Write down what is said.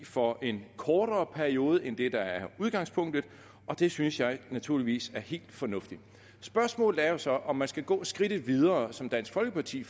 for en kortere periode end det der er udgangspunktet og det synes jeg naturligvis er helt fornuftigt spørgsmålet er så om man skal gå skridtet videre som dansk folkeparti